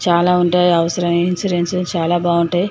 చాల ఉంటాయి అవసరమైన ఇన్సూరెన్స్ చాలా బాగుంటాయి.